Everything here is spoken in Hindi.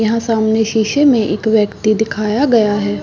यहाँ सामने शीशे में एक व्यक्ति दिखाया गया है।